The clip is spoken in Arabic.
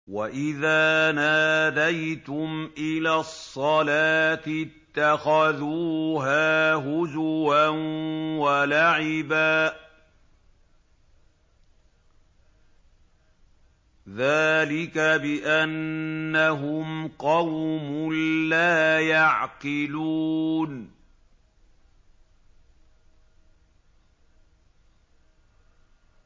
وَإِذَا نَادَيْتُمْ إِلَى الصَّلَاةِ اتَّخَذُوهَا هُزُوًا وَلَعِبًا ۚ ذَٰلِكَ بِأَنَّهُمْ قَوْمٌ لَّا يَعْقِلُونَ